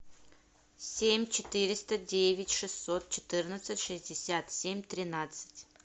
семь четыреста девять шестьсот четырнадцать шестьдесят семь тринадцать